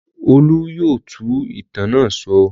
Olú yóò tú ìtàn náà sọ.